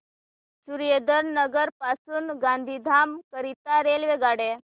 सुरेंद्रनगर पासून गांधीधाम करीता रेल्वेगाड्या